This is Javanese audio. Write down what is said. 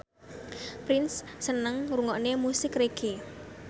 Prince seneng ngrungokne musik reggae